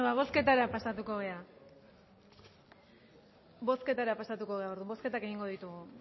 ba bozketara pasatuko gara bozketara pasatuko gara bozketak egingo ditugu